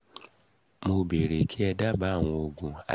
mo bèèrè kí ẹ dábàá àwọn òògùn